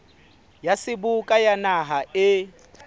ya seboka ya naha e